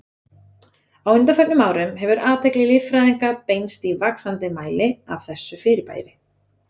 Á undanförnum árum hefur athygli líffræðinga beinst í vaxandi mæli að þessu fyrirbæri.